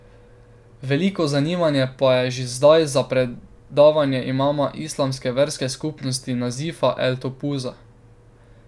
Veliko zanimanje pa je že zdaj za predavanje imama islamske verske skupnosti Nazifa el Topuza.